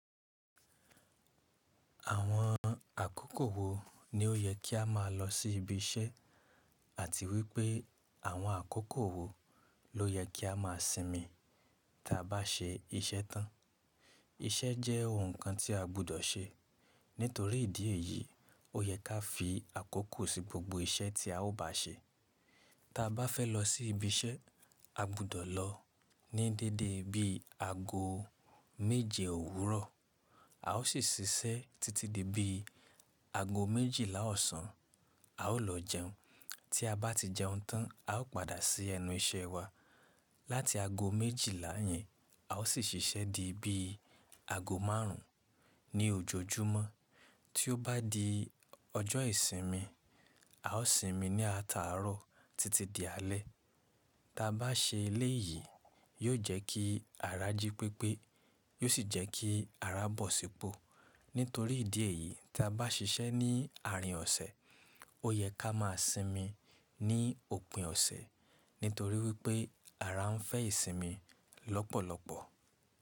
Àwọn àkókò wo ní ó yẹ kí a máa lọ sí ibi iṣẹ́ àti wípé àwọn àkókò wo ló yẹ kí a máa sinmi tí a bá ṣe iṣẹ́ tán? Iṣẹ́ jẹ́ ohun kan tí a gbúdọ̀ ṣe. Nítorí ìdí èyí, ó yẹ ká fi àkókò sí gbogbo iṣẹ́ tí a ó bá ṣe. Tí a bá fẹ́ lọ sí ibi iṣẹ́, a gbúdọ̀ lọ ní dédé bí i ago méje òwúrọ̀, a ó sì ṣiṣẹ́ títí di bí i ago méjìlá ọ̀sán, a ó lọ jẹun. Tí a bá ti jẹun tán, a ó padà sí ẹnu iṣẹ́ wa láti ago méjìlá yẹn, a ó sì ṣiṣẹ́ di bí i ago márùn ún ní òjojúmọ́. Tí ó bá di ọjọ́ ìsinmi, a ó sinmi ní ataárọ̀ títí di alẹ́. Tí a bá ṣe eléyìí, yóò jẹ́ kí ara jí pépé, yóò sì jẹ́ kí ara bọ̀ sípọ̀. Nítorí ìdí èyí, tí a bá ṣiṣẹ́ ní àárín ọ̀sẹ̀, ó yẹ ká máa sinmi ní òpin ọ̀sẹ̀ nítorí wípé ara ń fẹ́ ìsinmi lọ́pọ̀lọpọ̀.